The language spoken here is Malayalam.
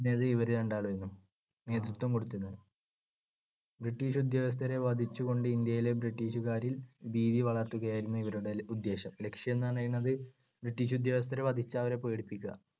ണ്ടായിരുന്നത് ഇവർ രണ്ടാളും ആയിരുന്നു നേതൃത്വം കൊടുത്തിരുന്നത്. ബ്രിട്ടീഷ് ഉദ്യോഗസ്ഥരെ വധിച്ചുകൊണ്ട് ഇന്ത്യയിലെ ബ്രിട്ടീഷ്‌കാരിൽ ഭീതി വളർത്തുകയായിരുന്നു ഇവരുടെ ഉദ്ദേശം. ലക്‌ഷ്യം എന്നു പറയുന്നത് ബ്രിട്ടീഷ് ഉദ്യോഗസ്ഥരെ വധിച്ചു അവരെ പേടിപ്പിക്കുക.